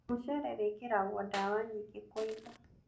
Mũcere wĩkĩragwo dawa nyingĩ kũiga